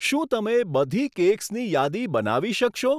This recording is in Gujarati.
શું તમે બધી કેક્સની યાદી બનાવી શકશો?